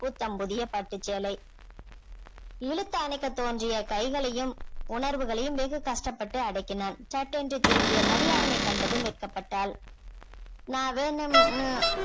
புத்தம் புதிய பட்டு சேலை இழுத்து அணைக்க தோன்றிய கைகளையும் உணர்வுகளையும் வெகு கஷ்டப்பட்டு அடக்கினான் சட்டென்று திரும்பிய மதி அவனைப் கண்டதும் வெட்கப்பட்டாள் நான் வேணும்னு